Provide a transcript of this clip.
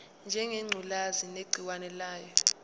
ngengculazi negciwane layo